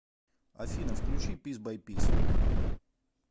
афина включи пис бай пис